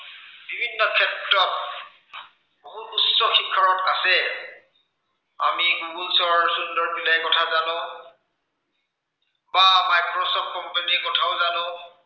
বিভিন্ন ক্ষেত্ৰত বহুত উচ্চ শিক্ষা আছে আমি গুগুলচৰ সুন্দৰ পিল্লাইৰ কথা জানো বা মাইক্ৰচফ্ট company ৰ কথাও জানো